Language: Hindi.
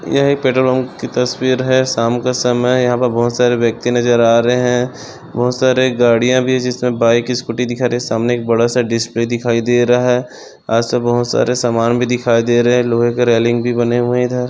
यहा एक पेट्रोल पंप की तस्वीर है शाम का समय है यहा पर बहुत सारे व्यक्ति नजर आ रहे है बहुत सारे गाड़िया भी है जिसमे बाइक स्कूटी दिखा रहे सामने एक बड़ासा डिस्प्ले दिखाई दे रहा है आज तो बहुत सारे सामान भी दिखाई दे रहे है लोहे के रेलिंग भी बने हुए है इधर--